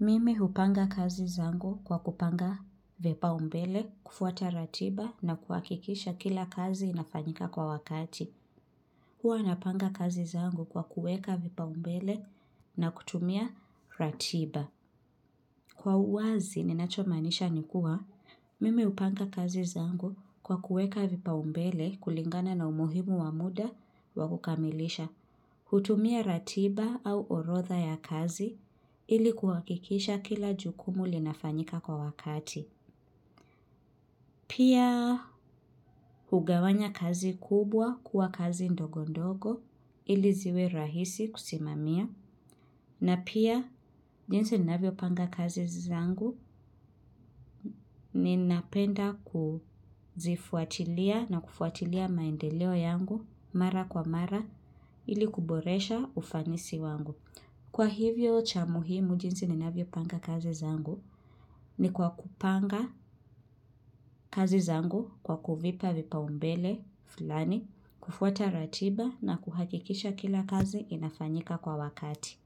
mimi hupanga kazi zangu kwa kupanga vipaumbele, kufuata ratiba na kuhakikisha kila kazi inafanyika kwa wakati. Huwa napanga kazi zangu kwa kuweka vipaumbele na kutumia ratiba. Kwa uwazi ninachomaanisha ni kuwa mimi hupanga kazi zangu kwa kuweka vipaumbele kulingana na umuhimu wa muda wa kukamilisha. Kutumia ratiba au orodha ya kazi ili kuhakikisha kila jukumu linafanyika kwa wakati. Pia hugawanya kazi kubwa kuwa kazi ndogo ndogo ili ziwe rahisi kusimamia. Na pia jinsi ninavyopanga kazi zangu ninapenda kuzifuatilia na kufuatilia maendeleo yangu mara kwa mara ili kuboresha ufanisi wangu. Kwa hivyo cha muhimu jinsi ninavyopanga kazi zangu ni kwa kupanga kazi zangu kwa kuvipa vipaumbele fulani, kufuata ratiba na kuhakikisha kila kazi inafanyika kwa wakati.